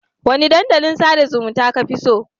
Wane dandalin sada zumunta kafi so?